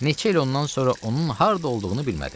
Neçə il ondan sonra onun harda olduğunu bilmədim.